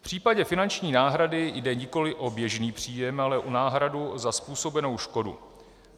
V případě finanční náhrady jde nikoliv o běžný příjem, ale o náhradu za způsobenou škodu.